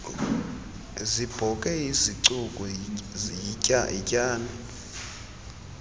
zibhoke isicuku yityani